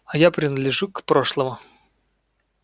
а я принадлежу к прошлому